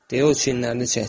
Deyə o çiyinlərini çəkdi.